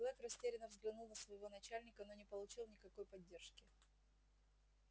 блэк растерянно взглянул на своего начальника но не получил никакой поддержки